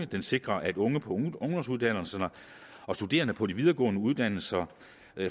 det sikrer at unge på ungdomsuddannelserne og studerende på de videregående uddannelser